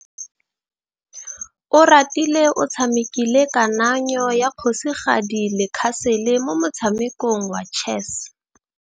Oratile o tshamekile kananyô ya kgosigadi le khasêlê mo motshamekong wa chess.